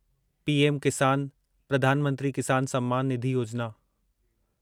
PM Kisan, प्रधान मंत्री किसान सम्मान निधि योजिना